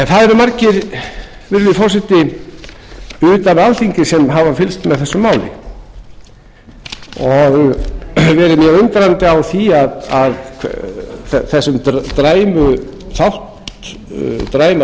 það eru margir virðulegi forseti utan alþingis sem hafa fylgst með þessu máli og verið mjög undrandi á þessum dræmu